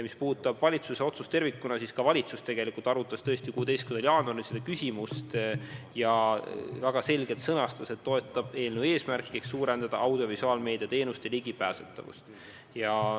Mis puudutab valitsuse otsust tervikuna, siis valitsus arutas tõesti 16. jaanuaril seda küsimust ja väga selgelt sõnastas, et toetab eelnõu eesmärki suurendada audiovisuaalmeedia teenuste ligipääsetavust.